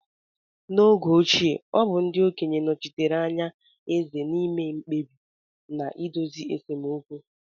N'oge ochie, ọ bụ ndị okenye nochitere anya eze na-ime mkpebi na na-idozi esemokwu.